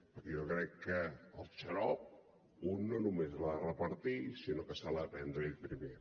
perquè jo crec que el xarop un no només l’ha de repartir sinó que se l’ha de prendre ell primer